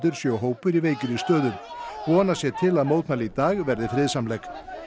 séu hópur í veikri stöðu vonast sé til að mótmæli í dag verði friðsamleg